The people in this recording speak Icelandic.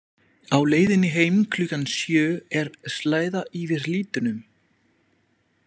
Á leiðinni heim klukkan sjö er slæða yfir litunum.